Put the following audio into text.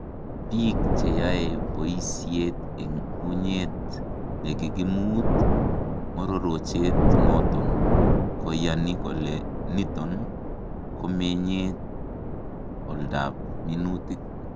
Biik cheyae boyisyeet en unyeet lekikimuut mororochet noton koyani kole niton komenyee oldap minutiik